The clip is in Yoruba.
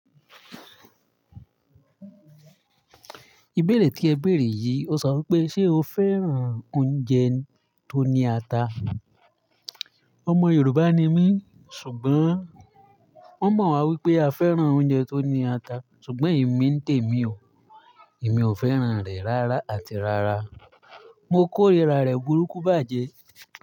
Ìbéèrè kí ẹ bèèrè yìí, o sọ wípé ṣe o fẹ́ràn oúnjẹ tó ní ata? Ọmọ Yorùbá ni mí, ṣùgbọ́n wọ́n mọ̀ wá wípé a fẹ́ràn oúnjẹ tó ní ata, ṣùgbọ́n èmi n témi o. Èmi ò fẹ́ràn rẹ̀ rárá àti rárá. Mo kórìíra rẹ̀ burúkú bájẹ́.